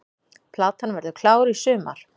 Platan verður klár í sumar